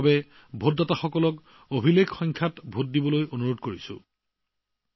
প্ৰথমবাৰৰ বাবে ভোটাৰ হোৱা সকলকো অভিলেখ সংখ্যক ভোটদান কৰিবলৈ আহ্বান জনাইছোঁ